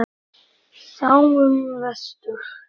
Sjáum vestur.